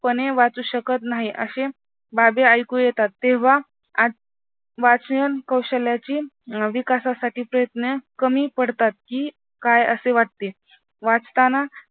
पणे वाचू शकत नाही. अशा बाबी ऐकू येतात तेव्हा वाचन कौशल्याची विकासासाठी प्रयत्न कमी पडतात कि काय असे वाटते. वाचताना